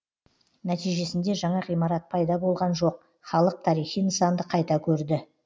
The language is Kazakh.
нәтижесінде жаңа ғимарат пайда болған жоқ халық тарихи нысанды қайта көрді